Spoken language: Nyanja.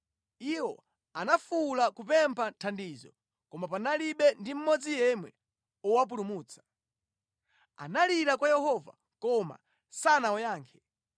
Iwo anafuwula kupempha thandizo, koma panalibe ndi mmodzi yemwe owapulumutsa. Analirira kwa Yehova, koma sanawayankhe.